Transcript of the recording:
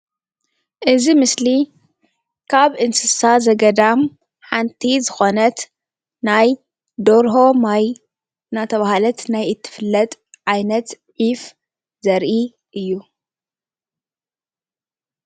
እዚ ምስሊ ካብ እንስሳ ዘገዳም ሓንቲ ዝኮነት ናይ ደርሆ ማይ እንዳተባሃለት ናይ እትፍለጥ ዓይነት ዒፍ ዘርኢ እዩ፡፡